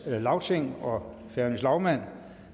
lagting og færøernes lagmand